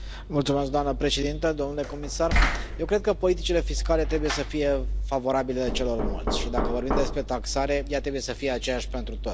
Doamnă președintă, domnule comisar, eu cred că politicile fiscale trebuie să fie favorabile celor mulți și dacă vorbim despre taxare, ea trebuie să fie aceeași pentru toți.